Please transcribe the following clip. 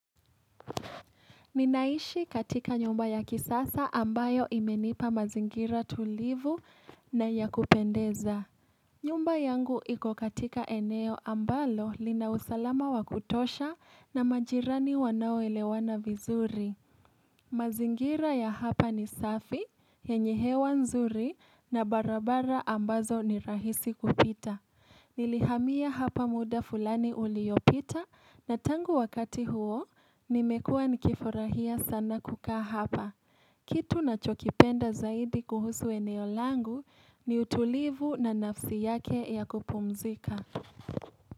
Ninaishi katika nyumba ya kisasa ambayo imenipa mazingira tulivu na ya kupendeza. Nyumba yangu ikokatika eneo ambalo linausalama wakutosha na majirani wanao elewana vizuri. Mazingira ya hapa ni safi, yenyehewa nzuri na barabara ambazo ni rahisi kupita. Nilihamiya hapa muda fulani uliopita na tangu wakati huo nimekua nikifurahia sana kukaa hapa. Kitu ninachokipenda zaidi kuhusu eneolangu ni utulivu na nafsi yake ya kupumzika.